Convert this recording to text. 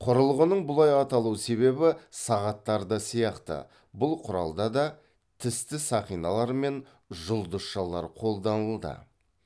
құрылғының бұлай аталу себебі сағаттардағы сияқты бұл құралда да тісті сақиналар мен жұлдызшалар қолданылды